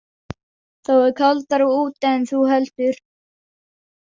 Þá er kaldara úti en þú heldur.